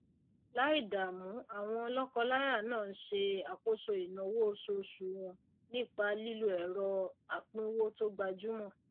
láì dààmú àwọn lókọ láyà náà n se àkóso ìnáwó osuosù wọn nípa lílo èrọ apínwó tò gbajúmò